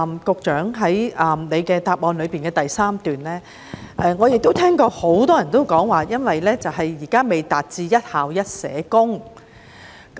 局長在主體答覆第三部分提到——我亦聽到很多人這樣說——問題源於現時仍未做到"一校一社工"。